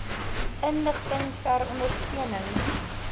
inligting ter ondersteuning